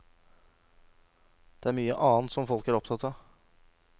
Det er mye annet som folk er opptatt av.